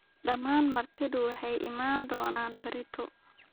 Dhammaan martidu waxay iman doonaan berrito